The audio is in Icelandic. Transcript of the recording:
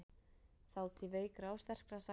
Þátíð veikra og sterkra sagna.